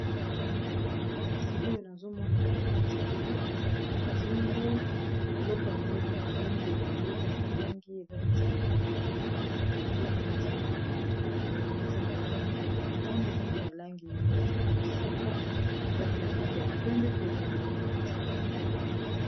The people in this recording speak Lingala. kasi oyo nazomona ezali neti biloko balataka na kingo eleko yango eza na balangi ebele eza na langi eza neti babiloko neti bambuma-mbuma boye yango eza na langi ya motane eza pe na langi neti ya mosaka eza pe na langi ya pembe pe eza na langi neti ya lilala